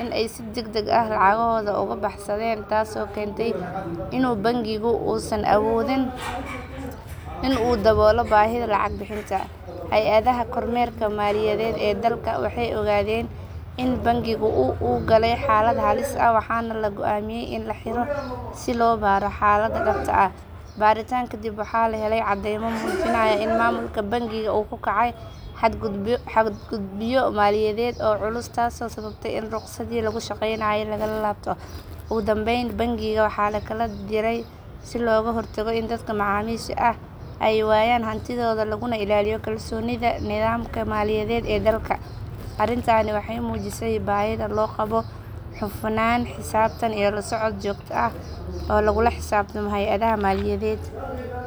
in ay si degdeg ah lacagahooda uga baxsadaan taasoo keenta in bangigu uusan awoodin in uu daboolo baahida lacag bixinta. Hay’adaha kormeerka maaliyadeed ee dalka waxay ogaadeen in bangigu uu galay xaalad halis ah waxaana la go’aamiyay in la xiro si loo baaro xaalada dhabta ah. Baaritaan kadib waxaa la helay caddeymo muujinaya in maamulka bangiga uu ku kacay xadgudubyo maaliyadeed oo culus taasoo sababtay in ruqsaddii lagu shaqeynayay laga laabto. Ugu dambeyn bangiga waxa la kala diray si looga hortago in dadka macaamiisha ah ay waayaan hantidooda laguna ilaaliyo kalsoonida nidaamka maaliyadeed ee dalka. Arintani waxay muujisay baahida loo qabo hufnaan, xisaabtan, iyo la socod joogto ah oo lagula xisaabtamo hay’adaha maaliyadeed.